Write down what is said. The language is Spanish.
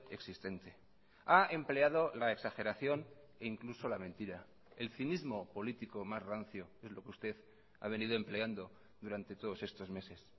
existente ha empleado la exageración e incluso la mentira el cinismo político más rancio es lo que usted ha venido empleando durante todos estos meses